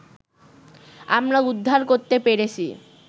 আমরা উদ্ধার করতে পেরেছি